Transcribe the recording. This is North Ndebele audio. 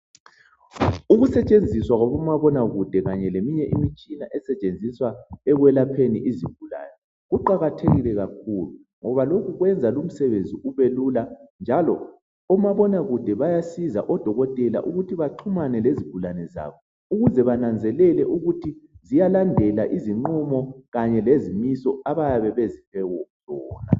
Ukusetshenziswa kwabomabonakude kanye leminye imitshina esetshenziswa ekwelapheni izigulane kuqakathekile kakhulu ngoba lokhu kwenza umsebenzi ubelula njalo omabonakude bayasiza odokotela ukuthi baxhumane lezigulane zabo ukuze bananzelele ukuthi ziyalandela izinqumo kanye lezimiso abayabe beziphiwe.